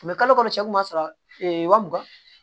U bɛ kalo kalo cɛ kuma sɔrɔ ee wa mugan